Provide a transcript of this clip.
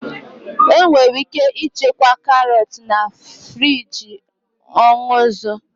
Enwere ike ịchekwa karot na friji onuu izu.